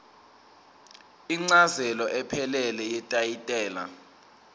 incazelo ephelele yetayitela